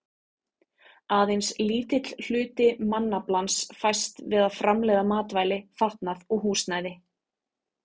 Aðeins lítill hluti mannaflans fæst við að framleiða matvæli, fatnað og húsnæði.